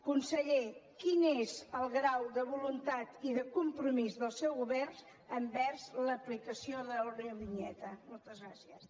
conseller quin és el grau de voluntat i de compromís del seu govern envers l’aplicació de l’eurovinyeta moltes gràcies